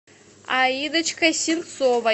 аидочкой синцовой